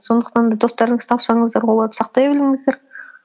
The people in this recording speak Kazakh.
сондықтан да достарыңызды тапсаңыздар оларды сақтай біліңіздер